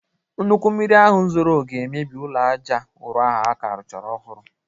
Nnukwu mmiri ahụ zoro ga-emebi ulọ aja ụrọ ahụ a ka rụchara ọhụrụ